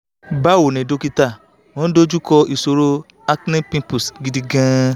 bawo ni dókítà mo n dojuko ìṣòro acne pimples gidi gan an